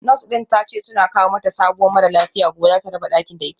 Nurse din tace suna kawo mata sabuwa mara lafiya gobe zata raba dakin da ita